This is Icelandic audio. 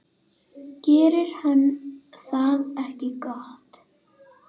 Gerir hann það ekki gott?